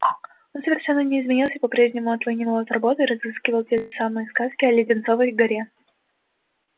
он совершенно не изменился по-прежнему отлынивал от работы и рассказывал те же сказки о леденцовой горе